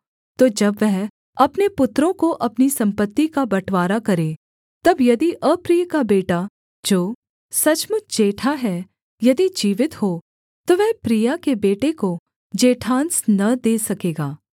तो जब वह अपने पुत्रों को अपनी सम्पत्ति का बँटवारा करे तब यदि अप्रिय का बेटा जो सचमुच जेठा है यदि जीवित हो तो वह प्रिया के बेटे को जेठांस न दे सकेगा